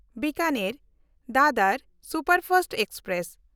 ᱵᱤᱠᱟᱱᱮᱨ–ᱫᱟᱫᱚᱨ superfast express